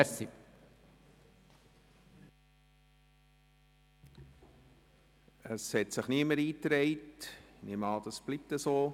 Es haben sich keine Rednerinnen oder Redner eingetragen.